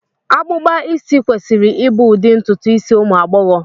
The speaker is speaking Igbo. Akpụkpa isi kwesịrị ịbụ ụdị ntutu isi ụmụ agbọghọ